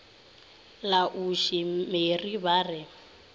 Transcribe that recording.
la ausi mary ba re